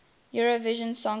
eurovision song contest